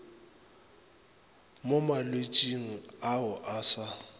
mo malwetšing ao a sa